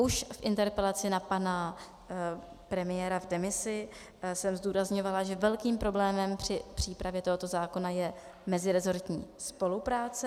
Už v interpelaci na pana premiéra v demisi jsem zdůrazňovala, že velkým problémem při přípravě tohoto zákona je mezirezortní spolupráce.